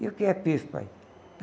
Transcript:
E o que é pife, pai?